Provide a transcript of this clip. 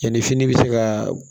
Yanni fini bɛ se ka